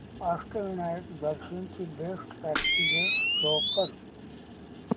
अष्टविनायक दर्शन ची best packages show कर